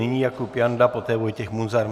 Nyní Jakub Janda, poté Vojtěch Munzar.